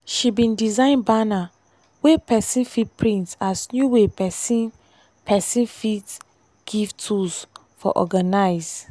she bin design banner wey person fit print as new way person person fit give tools for organize.